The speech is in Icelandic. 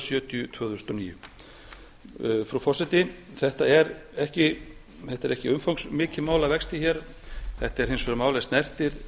sjötíu tvö þúsund og níu frú forseti þetta er ekki umfangsmikið mál að vexti hér þetta er hins vegar mál er snertir